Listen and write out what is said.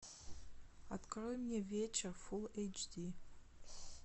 открой мне вечер фулл эйч ди